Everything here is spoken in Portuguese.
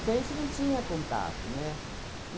Porque a gente não tinha contato, né?